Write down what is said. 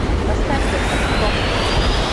поставь доктор кто